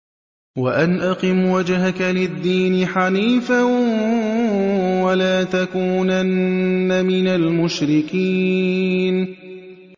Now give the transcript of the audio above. وَأَنْ أَقِمْ وَجْهَكَ لِلدِّينِ حَنِيفًا وَلَا تَكُونَنَّ مِنَ الْمُشْرِكِينَ